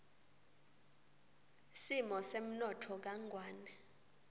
simo semnotfo kangwane